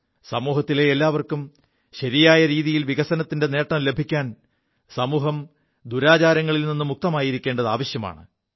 സമൂഹത്തിലെ എല്ലാവർക്കും ശരിയായ രീതിയിൽ വികസനത്തിന്റെ നേം ലഭിക്കാൻ സമൂഹം ദുരാചാരങ്ങളിൽ നി് മുക്തമായിരിക്കേണ്ടത് ആവശ്യമാണ്